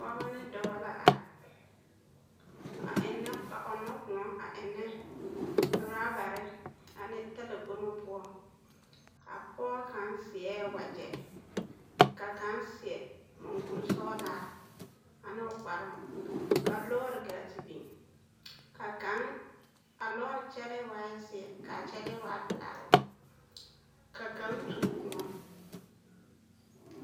Pɔgebɔ ne dɔbɔ la are a ennɛ a ɔnnɔ kõɔ a ennɛ rɔbare ane talakpomo poɔ, a pɔge kaŋ seɛ wagyɛ ka kaŋ seɛ mɔŋkuri sɔgelaa ane o kparoo ka lɔɔre gaa te biŋ ka kaŋ a lɔre kyɛlɛɛ waa zeɛ pelaa ka kaŋ tuo kõɔ.